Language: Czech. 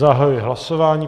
Zahajuji hlasování.